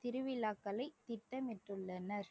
திருவிழாக்களை திட்டமிட்டுள்ளனர்